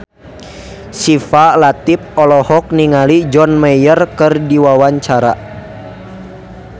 Syifa Latief olohok ningali John Mayer keur diwawancara